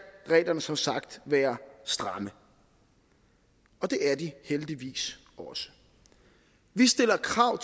reglerne som sagt være stramme og det er de heldigvis også vi stiller krav